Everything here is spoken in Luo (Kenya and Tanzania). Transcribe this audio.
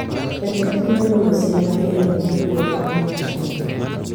Jatend piny ogolo siem mager ne jokuo jamni e gwenge